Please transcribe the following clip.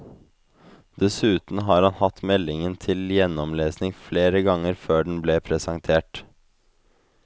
Dessuten har han hatt meldingen til gjennomlesing flere ganger før den ble presentert.